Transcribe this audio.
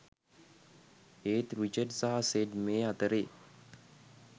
ඒත් රිචඩ් සහ සෙඩ් මේ අතරෙ